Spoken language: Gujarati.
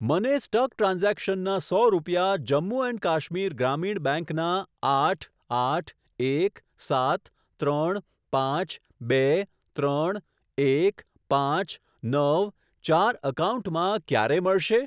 મને સ્ટક ટ્રાન્ઝેક્શનના સો રૂપિયા જમ્મુ એન્ડ કાશ્મીર ગ્રામીણ બેંક ના આઠ આઠ એક સાત ત્રણ પાંચ બે ત્રણ એક પાંચ નવ ચાર એકાઉન્ટમાં ક્યારે મળશે?